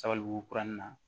Sabalibugu kurun in na